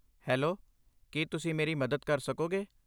Hello, ਕੀ ਤੁਸੀਂ ਮੇਰੀ ਮਦਦ ਕਰ ਸਕੋਗੇ?